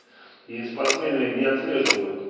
и спортсмены не отслеживают